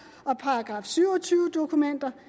og § syv og tyve dokumenter